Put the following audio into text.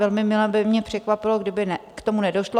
Velmi mile by mě překvapilo, kdyby k tomu nedošlo.